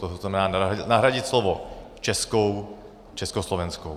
To znamená nahradit slovo českou československou.